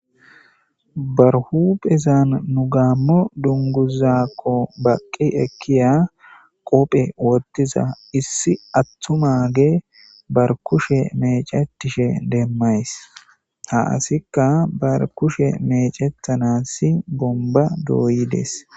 ba huphezan nu gaammo dunguzakko baqqi ekkiya qope wottiza issi attumage bar kushe mecetishe demmays ha asikka bar kushe mecethanasi bomba dooyides